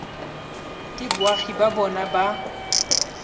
ke boagi ba bona ba